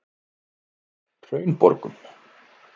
Hraunborgum